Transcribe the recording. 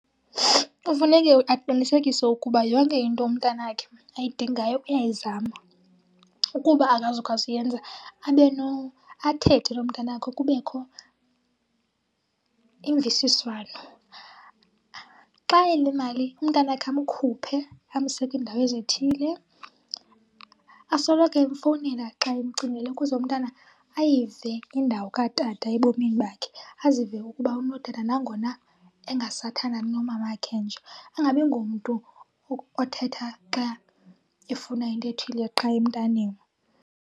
Kufuneke aqinisekise ukuba yonke into umntanakhe ayidingayo uyayizama. Ukuba akazukwazi ukuyenza abe athethe nomntanakhe kubekho imvisiswano. Xa enemali, umntanakhe amkhuphe amse kwindawo ezithile. Asoloko emfowunela xa emcingile ukuze umntana ayive indawo katata ebomini bakhe, azive ukuba unotata nangona engasathandani nomamakhe nje. Angabi ngumntu othetha xa efuna into ethile qha emntaneni.